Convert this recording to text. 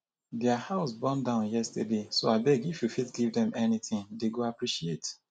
their house born down yesterday so abeg if you fit give dem anything dey go appreciate